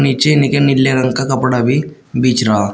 पिछे इनके निले रंग का कपड़ा भी बेच रहा--